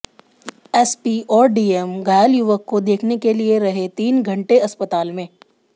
SP और DM घायल युवक को देखने के लिए रहे तीन घंटे अस्पताल में